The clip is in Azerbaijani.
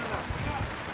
Oğulcan at.